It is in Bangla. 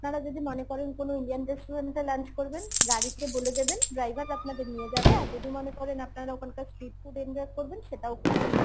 যদি মনে করেন কোন indian restaurant এ lunch করবেন গাড়িকে বলে দেবেন driver আপনাদের নিয়ে যাবে আর যদি মনে করেন আপনারা ওখানকার street food enjoy করবেন সেটাও করতে পারেন